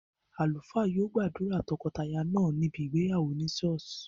Àlùfáà yio gbàdùrà tokotaya náà níbi ìgbéyàwó ni churh